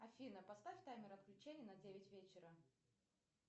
афина поставь таймер отключения на девять вечера